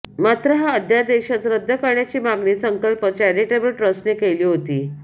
मात्र हा अध्यादेशच रद्द करण्याची मागणी संकल्प चॅरिटेबल ट्रस्टनं केली होती